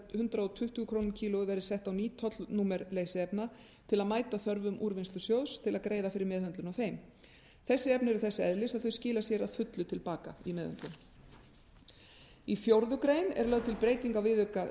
hundrað tuttugu krónur á kíló verði sett á ný tollnúmer leysiefna til að mæta þörfum úrvinnslusjóðs til að greiða fyrir meðhöndlun á þeim þessi efni eru þess eðlis að þau skila sér að fullu til baka í meðhöndlun í fjórða grein er lögð til breyting á viðauka